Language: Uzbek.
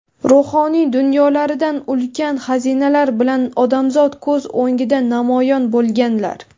ruhoniy dunyolarida ulkan xazinalar bilan odamzod ko‘z o‘ngida namoyon bo‘lganlar.